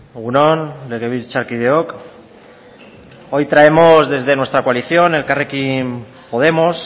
egun on legebiltzarkideok hoy traemos desde nuestra coalición elkarrekin podemos